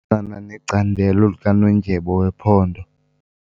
Sisebenzisana necandelo likanondyebo wephondo.